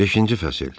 Beşinci fəsil.